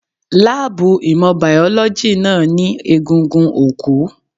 Láàbù ìmọ̀ Bíọ́lọ́gì náà ní egungun òkú.